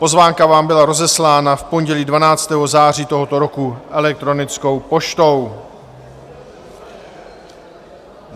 Pozvánka vám byla rozeslána v pondělí 12. září tohoto roku elektronickou poštou.